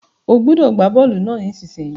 O gbúdọ̀ gbá bọ́lù náà nísinsìn yìí